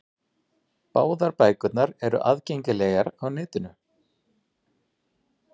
Báðar bækurnar eru aðgengilegar á netinu.